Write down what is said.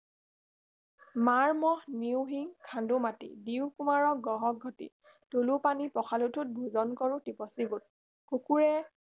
মাৰ মহ নিওঁ শিংখান্দো মাটি দিও কুমাৰক গঢ়ক ঘটী তোলো পানী পখালো ঠোট ভোজন কৰো টিপচী গোট কুকুৰে